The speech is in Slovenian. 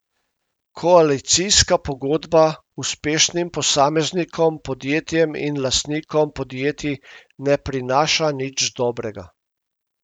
Koalicijska pogodba uspešnim posameznikom, podjetjem in lastnikom podjetij ne prinaša nič dobrega.